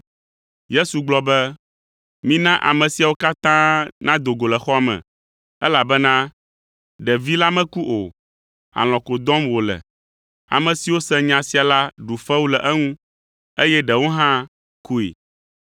Yesu gblɔ be, “Mina ame siawo katã nado go le xɔa me, elabena ɖevi la meku o, alɔ̃ ko dɔm wòle.” Ame siwo se nya sia la ɖu fewu le eŋu, eye ɖewo hã koe.